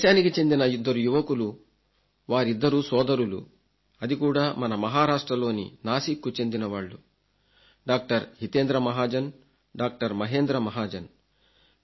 మన దేశానికి చెందిన ఇద్దరు యువకులు వారిద్దరూ సోదరులు అది కూడా మన మహారాష్ట్రలోని నాసిక్కు చెందినవాళ్లు డాక్టర్ హితేంద్ర మహాజన్ డాక్టర్ మహేంద్ర మహాజన్